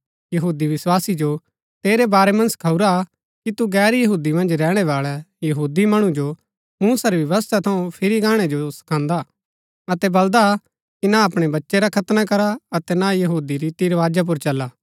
यहूदी विस्वासी जो तेरै बारै मन्ज सखाऊरा हा कि तू गैर यहूदी मन्ज रैहणै बाळै यहूदी मणु जो मूसा री व्यवस्था थऊँ फिरी गाणै जो सखांदा अतै बलदा कि ना अपणै बच्चै रा खतना करा अतै ना यहूदी रीति रवाजा पुर चला